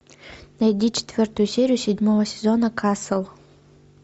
найди четвертую серию седьмого сезона касл